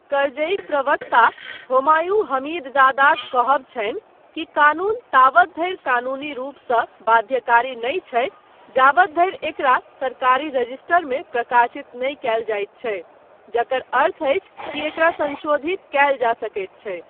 करजईक प्रवक्ता होमायूं हमीदजादाक कहब छनि कि कानून तावत धरि कानूनी रूपसँ बाध्यकारी नहि छै जावत धरि एकरा सरकारी रजिस्टरमे प्रकाशित नहि कयल जाइत छै, जकर अर्थ अछि कि एकरा संशोधित कयल जा सकैत छै।